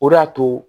O de y'a to